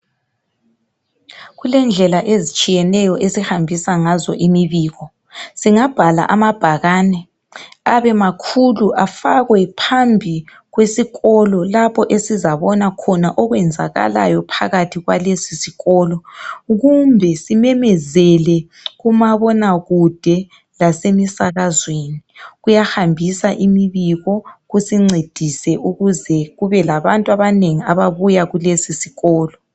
Kulendlela ezitshiyeneyo esihambisa ngazo imibiko . Singabhala amabhakane abemakhulu afakwe phambi kwesikolo lapho esizabona khona okwenzakalayo phakathi kwalesisikolo .Kumbe simemezele kumabonakude lasemisakazweni .Kuyahambisa imibiko kusiincedise ukuze kube labantu abanengi ababuya kulesisikolo.